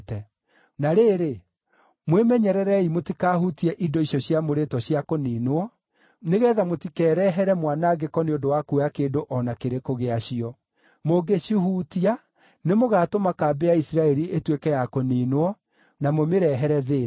Na rĩrĩ, mwĩmenyererei mũtikahutie indo icio ciamũrĩtwo cia kũniinwo, nĩgeetha mũtikerehere mwanangĩko nĩ ũndũ wa kuoya kĩndũ o na kĩrĩkũ gĩacio. Mũngĩcihutia nĩmũgatũma kambĩ ya Isiraeli ĩtuĩke ya kũniinwo, na mũmĩrehere thĩĩna.